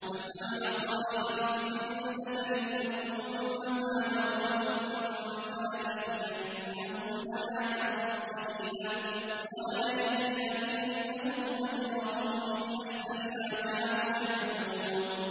مَنْ عَمِلَ صَالِحًا مِّن ذَكَرٍ أَوْ أُنثَىٰ وَهُوَ مُؤْمِنٌ فَلَنُحْيِيَنَّهُ حَيَاةً طَيِّبَةً ۖ وَلَنَجْزِيَنَّهُمْ أَجْرَهُم بِأَحْسَنِ مَا كَانُوا يَعْمَلُونَ